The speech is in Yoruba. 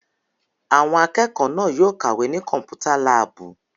Àwọn akẹ́kọ̀ọ́ náà yóò kàwé ní Kọ́mpútà láàbù!